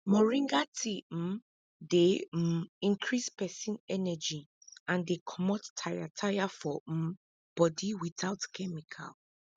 moringa tea um dey um increase person energy and dey comot tire tire for um body without chemical